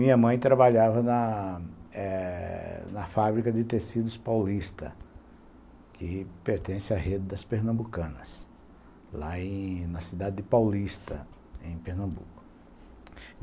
Minha mãe trabalhava na eh na fábrica de tecidos paulista, que pertence à rede das pernambucanas, lá em na cidade de Paulista, em Pernambuco.